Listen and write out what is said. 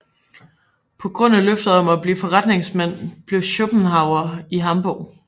På grund af løftet om at blive forretningsmand blev Schopenhauer i Hamburg